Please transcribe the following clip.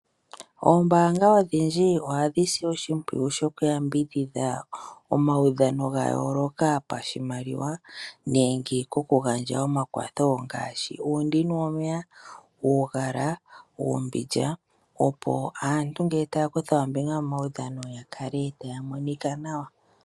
Oombanga odhindji ohadhi si oshimpwiyu shoku yambidhidha omaudhano ga yooloka pashimaliwa. Nenge kokugandja omakwatho ngaashi uundini womeya, uugala, uumbindja, opo aantu ngele taya kutha ombinga momaudhano ya kale taya monika nawa.